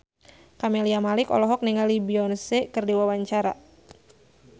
Camelia Malik olohok ningali Beyonce keur diwawancara